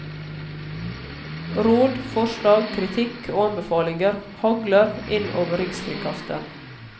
Råd, forslag, kritikk og anbefalinger hagler inn over rikskringkasteren.